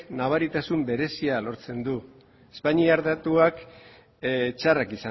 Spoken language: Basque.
nabaritasun berezia lortzen du espainiar datuak txarrak